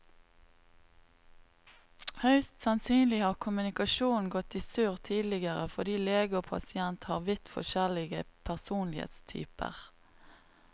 Høyst sannsynlig har kommunikasjonen gått i surr tidligere fordi lege og pasient har vidt forskjellig personlighetstyper.